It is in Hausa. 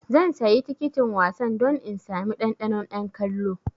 Zan sayi tikitin wasan don in sami ɗanɗanon 'yan kallo.